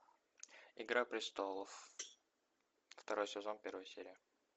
игра престолов второй сезон первая серия